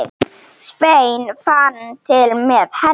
Sveinn fann til með henni.